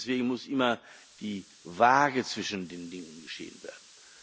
Und deswegen muss immer die Waage zwischen den Dingen gesehen werden.